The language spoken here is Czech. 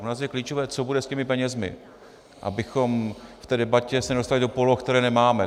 Pro nás je klíčové, co bude s těmi penězi, abychom v té debatě se nedostali do poloh, které nemáme.